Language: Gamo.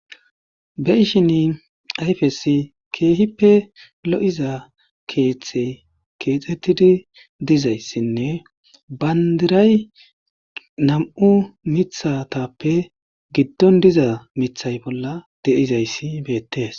Be ishin ayfesi keehippe lo7iza keeththe keexettidi dizayssinne bandiray nam7u mithatappe giddon diza mithay bolla deizayssi beettees